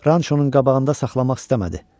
Ranço-nun qabağında saxlamaq istəmədi.